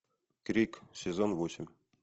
крик сезон восемь